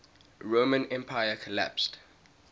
roman empire collapsed